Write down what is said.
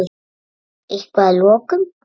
Eitthvað lokum?